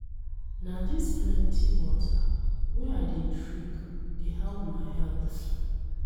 Na dis plenty water wey I dey drink dey help my health.